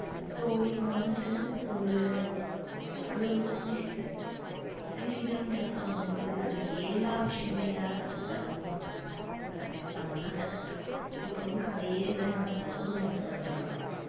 so இப்ப வந்துட்டு ஒரு அது ஒரு குட்டி seegal குட்டி seegal ன்றப்ப வந்துட்டு அதுக்கு எல்லா விஷயமுமே யாரு கத்து தரணும்? அத பெத்தவங்க தான் கத்து தரணும். இப்ப வந்து அதே இத குடும்ப example க்கு நான் வரேன்